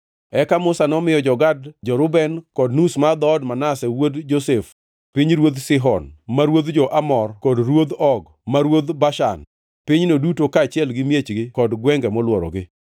Eka Musa nomiyo jo-Gad, jo-Reuben kod nus mar dhood Manase wuod Josef pinyruodh Sihon ma ruodh jo-Amor kod pinyruodh Og ma ruodh Bashan; pinyno duto kaachiel gi miechgi kod gwenge molworogi.